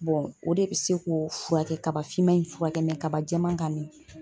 o de bi se k'o furakɛ kaba finman in furakɛ kaba jɛman kan